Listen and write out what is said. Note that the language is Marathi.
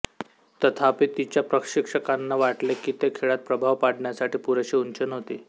तथापि तिच्या प्रशिक्षकांना वाटले की ती खेळात प्रभाव पाडण्यासाठी पुरेशी उंच नव्हती